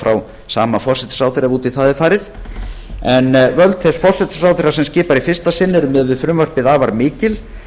frá sama forsætisráðherra ef út í það er farið en völd þess forsætisráðherra sem skipar í fyrsta sinn eru miðað við frumvarpið afar mikil